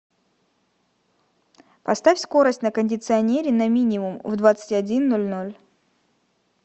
поставь скорость на кондиционере на минимум в двадцать один ноль ноль